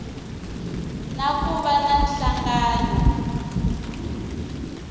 na ku va na nhlangano